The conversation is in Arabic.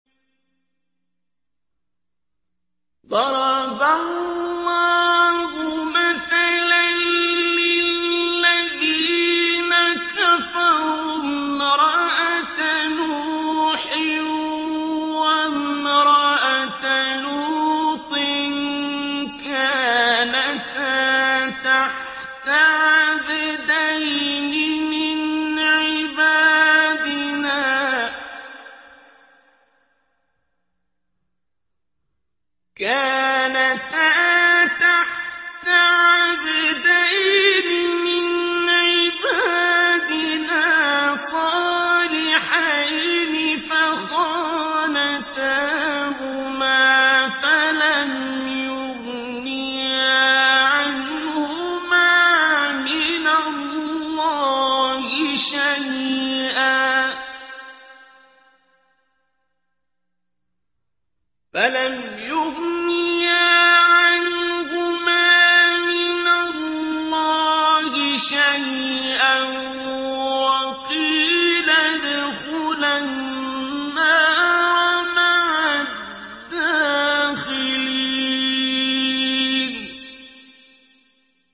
ضَرَبَ اللَّهُ مَثَلًا لِّلَّذِينَ كَفَرُوا امْرَأَتَ نُوحٍ وَامْرَأَتَ لُوطٍ ۖ كَانَتَا تَحْتَ عَبْدَيْنِ مِنْ عِبَادِنَا صَالِحَيْنِ فَخَانَتَاهُمَا فَلَمْ يُغْنِيَا عَنْهُمَا مِنَ اللَّهِ شَيْئًا وَقِيلَ ادْخُلَا النَّارَ مَعَ الدَّاخِلِينَ